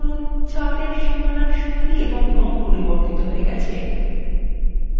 লক্ষ্য করুন chart এর সীমানার style এবং রং পরিবর্তিত হয়ে গেছে